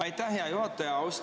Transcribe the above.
Aitäh, hea juhataja!